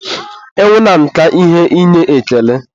ịnwụ na nka ihe inye ekele.